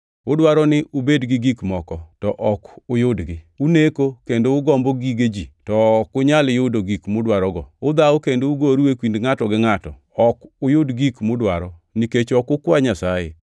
Udwaro ni ubed gi gik moko, to ok uyudgi. Uneko kendo ugombo gige ji, to ok unyal yudo gik mudwarogo. Udhawo kendo ugoru e kindu ngʼato gi ngʼato. Ok uyud gik mudwaro nikech ok ukwa Nyasaye.